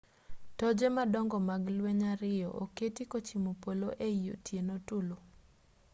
toje madongo mag ler ariyo oketi kochimo polo ei otieno tulu